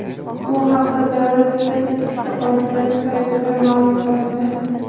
Bu haqda Davlat statistika qo‘mitasi saytida ma’lum qilindi .